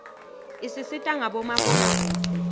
isisita ngabo mabonakudze